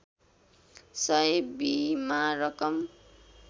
सय बिमा रकम